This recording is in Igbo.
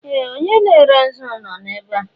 Ee! Onye na-ere nzu nọ ebe a.